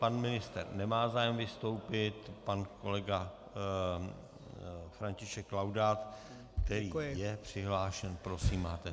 Pan ministr nemá zájem vystoupit, pan kolega František Laudát, který je přihlášen, prosím, máte slovo.